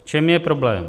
V čem je problém?